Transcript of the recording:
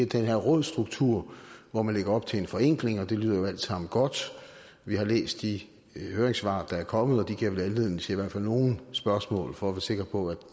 den her rådsstruktur hvor man lægger op til en forenkling og det lyder jo alt sammen godt vi har læst de høringssvar der er kommet og de giver vel anledning til i hvert fald nogle spørgsmål for at sikre på at